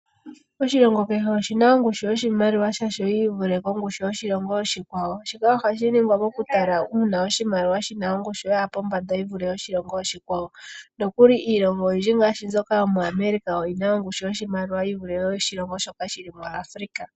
Oshilongo kehe oshina ongushu yoshimaliwa shasho yi vule ongushu yoshilongo oshikwawo. Shika ohashi ningwa kokutala uuna oshimaliwa shina ongushu ya ya pombanda yi vule yoshilongo oshikwawo. Nokuli iilongo oyindji ngaashi mbyoka yo moAmerica oyina ongushu yoshimaliwa yi vule yoshilongo shoka shili muAfrica.